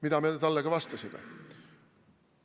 Nii me talle ka vastasime.